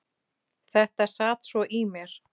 Þetta sat svo í mér.